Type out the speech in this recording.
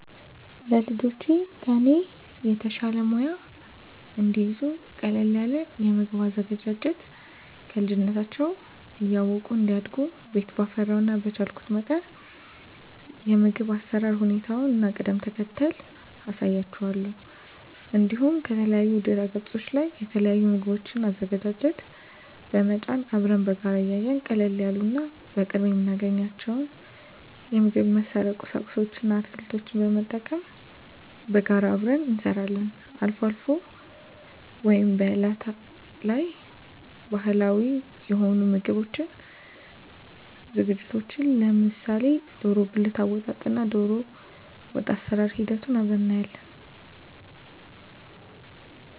ለልጆቼ ከኔ የተሻለ ሙያ እንዲይዙ ቀለል ያለ የምግብ አዘገጃጀት ከልጅነታቸው እያወቁ እንዲያድጉ ቤት ባፈራው እና በቻልኩት መጠን የምግብ አሰራር ሁኔታውን እና ቅደም ተከተሉን አሳያቸዋለሁ። እንዲሁም ከተለያዩ ድህረገጾች ላይ የተለያዩ የምግብ አዘገጃጀት በመጫን አብረን በጋራ እያየን ቀለል ያሉ እና በቅርቡ የምናገኛቸውን የምግብ መስሪያ ቁሳቁስ እና አትክልቶችን በመጠቀም በጋራ አብረን እንሰራለን። አልፎ አልፎ ወይም በአላት ላይ ባህላዊ የሆኑ የምግብ ዝግጅቶችን ለምሳሌ ደሮ ብልት አወጣጥ እና ደሮወጥ አሰራር ሂደቱን አብረን እናያለን።